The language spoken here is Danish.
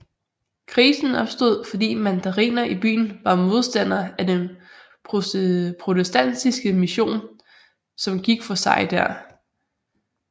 Krisen opstod fordi mandariner i byen var modstandere af den protestantiske mision som gik for sig der